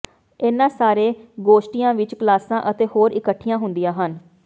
ਇਨ੍ਹਾਂ ਸਾਰੇ ਗੋਸ਼ਟੀਆਂ ਵਿਚ ਕਲਾਸਾਂ ਅਤੇ ਹੋਰ ਇਕੱਠੀਆਂ ਹੁੰਦੀਆਂ ਹਨ